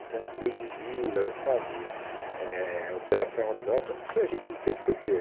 Então, lei de vila, sabe, eh operação urbana, tudo isso a gente intercedeu.